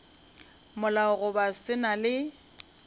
molao goba se na le